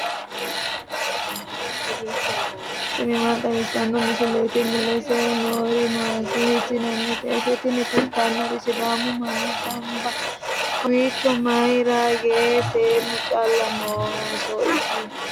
tini maa xawissanno misileeti ? mulese noori maati ? hiissinannite ise ? tini kultannori sidaamu manni gamba kowiicho mayra yiino seennu callu noonso isi